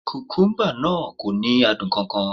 Kùkúmbà náà kò ní adùn kan kan